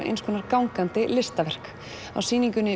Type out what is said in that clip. eins konar gangandi listaverk á sýningunni